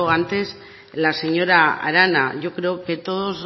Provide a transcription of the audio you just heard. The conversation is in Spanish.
antes la señora arana yo creo que todos